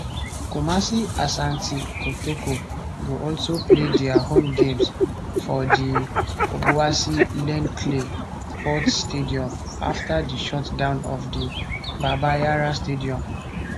kumasi asante kotoko go also play dia home games for di obuasi len clay sports stadium afta di shutdown of the baba yara stadium